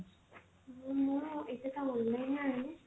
ମୁଁ ଏଇଟା ତ online ରୁ ଆଣିନି